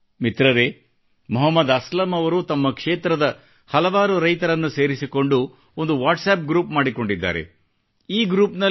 ಅಲ್ಲದೆ ಮಿತ್ರರೇ ಮೊಹಮ್ಮದ ಅಸ್ಲಮ ಅವರು ತಮ್ಮ ಕ್ಷೇತ್ರದ ಹಲವವಾರು ರೈತರನ್ನು ಸೇರಿಸಿಕೊಂಡು ಒಂದು ವಾಟ್ಸಪ್ ಗ್ರುಪ್ ಮಾಡಿಕೊಂಡಿದ್ದಾರೆ